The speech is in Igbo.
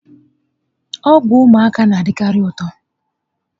Ọgwụ ụmụaka na-adikari ụtọ